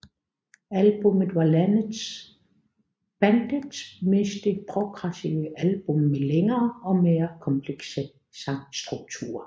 Albummet var bandets meste progressive album med længere og mere komplekse sangstrukturer